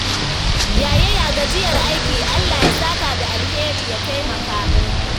Yaya gajiyar aiki? Allah ya saka da alheri ya taimaka.